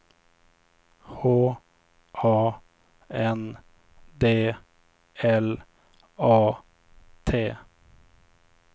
H A N D L A T